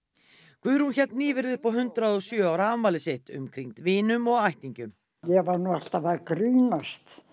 Guðrún hélt nýverið upp á hundrað og sjö ára afmæli sitt umkringd vinum og ættingjum ég er nú alltaf að grínast